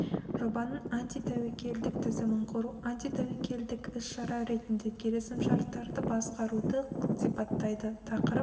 жобаның антитәуекелдік тізімін құру антитәуекелдік іс-шара ретінде келісімшарттарды басқаруды сипаттайды тақырып